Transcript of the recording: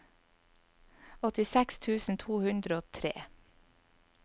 åttiseks tusen to hundre og tre